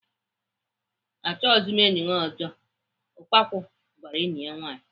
Achọghịzi m enyi gị ọzọ! "Ukpaku gwara enyi ya nwaanyị.